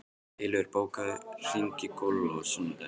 Eilífur, bókaðu hring í golf á sunnudaginn.